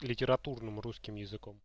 литературным русским языком